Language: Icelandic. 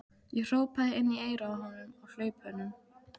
Ég hrópaði inn í eyrað á honum á hlaupunum.